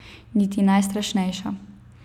Niti najstrašnejša.